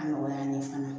A nɔgɔya an ye fana